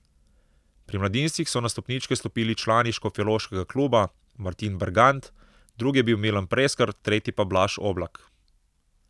Pri mladincih so na stopničke stopili člani škofjeloškega kluba, Martin Bergant, drugi je bil Milan Preskar, tretji pa Blaž Oblak.